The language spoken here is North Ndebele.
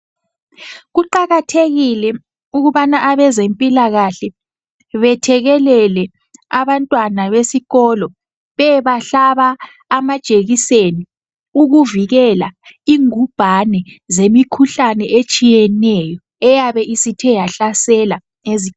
Kuqakathekile ukubana abezempilakahle bethekelele abantwana besikolo. Beyebahlaba amajekiseni ukuvikela ingubhane zemikhuhlane etshiyeneyo, eyabe isithe yahlasela